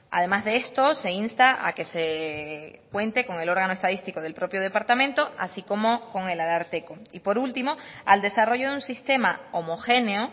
además de esto se insta a que se cuente con el órgano estadístico del propio departamento así como con el ararteko y por último al desarrollo de un sistema homogéneo